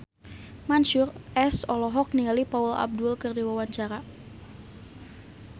Mansyur S olohok ningali Paula Abdul keur diwawancara